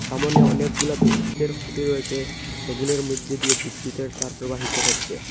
সামোনে অনেকগুলা বিদ্যুতের খুঁটি রয়েসে সেগুলির মইদ্যে দিয়ে বিদ্যুতের তার প্রবাহিত হচ্চে।